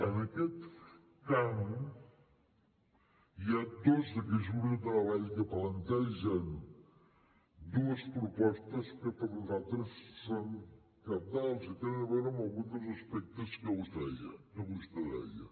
en aquest camp hi ha dos d’aquests grups de treball que plantegen dues propostes que per nosaltres són cabdals i tenen a veure amb alguns dels aspectes que vostè deia